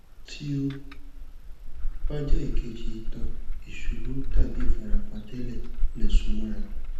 tí ó bá jẹ ìkejì ìtàn ìṣubú tàbí ìfarapa tẹlẹ lè so mọra